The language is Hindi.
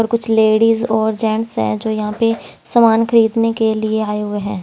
और कुछ लेडीज और जेंट्स हैं जो यहाँ पे सामान खरीदने के लिए आए हुए हैं।